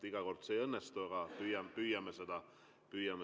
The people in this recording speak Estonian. Iga kord see ei õnnestu, aga püüame seda teha.